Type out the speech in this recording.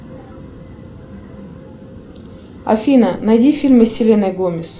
афина найди фильмы с селеной гомес